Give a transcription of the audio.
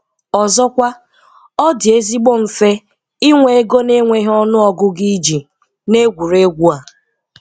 Ọzọkwa, ọ dị ezigbo mfe ịnwe ego na - enweghị ọnụ ọgụgụ iji n'egwuregwu a.